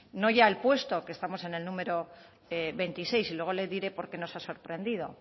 no ya el puesto que estamos en el número veintiséis y luego le diré por qué nos ha sorprendido